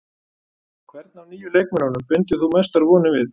Hvern af nýju leikmönnunum bindur þú mestar vonir við?